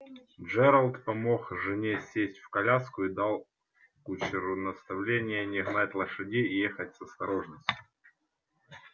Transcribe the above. джералд помог жене сесть в коляску и дал кучеру наставление не гнать лошадей и ехать с осторожностью